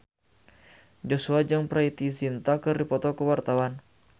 Joshua jeung Preity Zinta keur dipoto ku wartawan